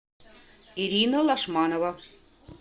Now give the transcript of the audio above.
ирина лошманова